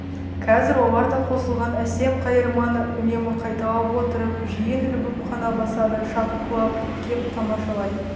қазір олар да қосылған әсем қайырманы үнемі қайталап отырып жиын ілбіп қана басады шапқылап кеп тамашалай